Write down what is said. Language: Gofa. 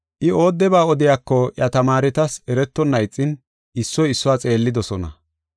I oodeba odiyako iya tamaaretas eretonna ixin issoy issuwa xeellidosona.